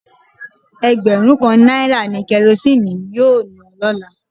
Egberun kan naira ni Kerosene yoo na lola